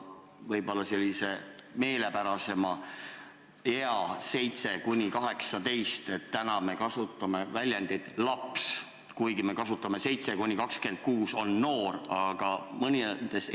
Kui tegu on vanusega 7–18, siis me kasutame sõna "laps", kui aga jutt on vanusest 7–26, siis on nad "noored".